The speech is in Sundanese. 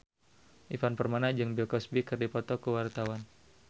Ivan Permana jeung Bill Cosby keur dipoto ku wartawan